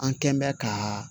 An kɛn bɛ ka